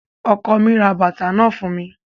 Ọkọ mi ra bàtà náà fún mi